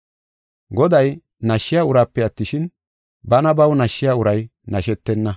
Goday nashshiya uraape attishin, bana baw nashshiya uray nashetenna.